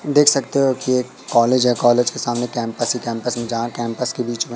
देख सकते हो कि एक कॉलेज है कॉलेज के सामने कैंपस ही कैंपस में जहां कैंपस के बीच में--